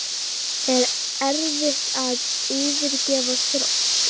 Er erfitt að yfirgefa Þrótt?